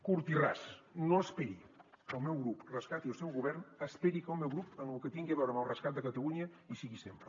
curt i ras no esperi que el meu grup rescati el seu govern esperi que el meu grup en lo que tingui a veure amb el rescat de catalunya hi sigui sempre